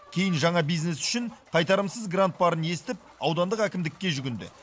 кейін жаңа бизнес үшін қайтарымсыз грант барын естіп аудандық әкімдікке жүгінді